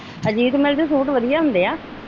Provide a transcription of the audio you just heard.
Ajit mill ਦੇ suit ਵਧੀਆ ਹੁੰਦੇ ਆ।